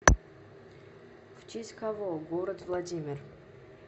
в честь кого город владимир